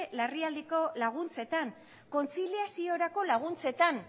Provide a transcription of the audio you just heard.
larrialdietarako laguntzetan kontziliaziorako laguntzetan